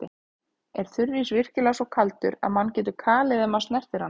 Er þurrís virkilega svo kaldur að mann getur kalið ef maður snertir hann?